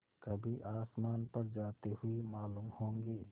कभी आसमान पर जाते हुए मालूम होंगे